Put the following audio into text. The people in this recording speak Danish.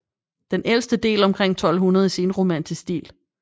Den ældste del omkring 1200 i senromansk stil